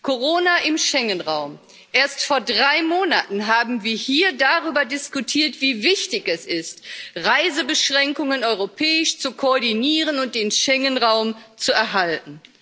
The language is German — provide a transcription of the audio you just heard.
Corona im Schengenraum. Erst vor drei Monaten haben wir hier darüber diskutiert, wie wichtig es ist, Reisebeschränkungen europäisch zu koordinieren und den Schengenraum zu erhalten.